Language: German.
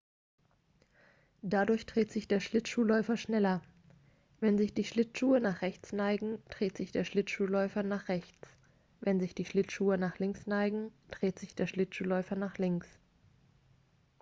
dadurch dreht sich der schlittschuhläufer wenn sich die schlittschuhe nach rechts neigen dreht sich der schlittschuhläufer nach rechts wenn sich die schlittschuhe nach links neigen dreht sich der schlittschuhläufer nach links